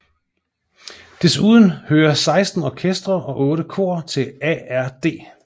Desuden hører 16 orkestre og 8 kor til ARD